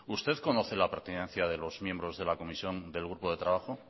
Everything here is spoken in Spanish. usted conoce la pertinencia de los miembros de la comisión del grupo de trabajo